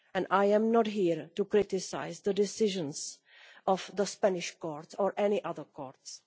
I am not here to criticise the decisions of the Spanish court or any other courts